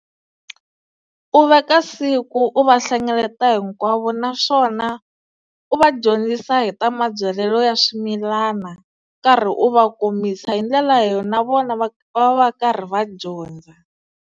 U veka siku u va hlengeleta hinkwavo naswona u va dyondzisa hi ta mabyalelo ya swimilana u karhi u va kombisa hi ndlela leyo na vona va va va karhi va dyondza.